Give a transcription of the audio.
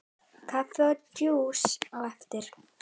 Kaffi og djús á eftir.